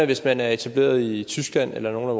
hvis man er etableret i tyskland eller nogle af